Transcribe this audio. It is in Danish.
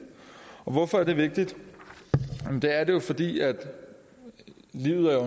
hvorfor er det vigtigt det er det jo fordi livet